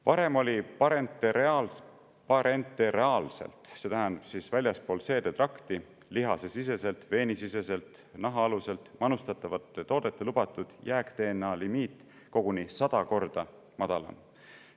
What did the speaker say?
Varem oli parenteraalselt – see tähendab väljaspool seedetrakti: lihasesiseselt, veenisiseselt, nahaaluselt – manustatavate toodete lubatud jääk-DNA limiit koguni 100 korda madalam.